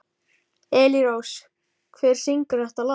Elírós, hver syngur þetta lag?